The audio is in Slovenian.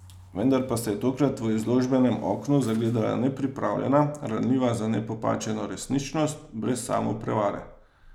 Vendar pa se je tokrat v izložbenem oknu zagledala nepripravljena, ranljiva za nepopačeno resničnost, brez samoprevare.